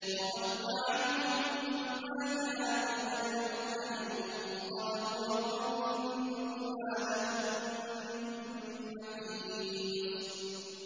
وَضَلَّ عَنْهُم مَّا كَانُوا يَدْعُونَ مِن قَبْلُ ۖ وَظَنُّوا مَا لَهُم مِّن مَّحِيصٍ